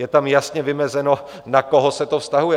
Je tam jasně vymezeno, na koho se to vztahuje.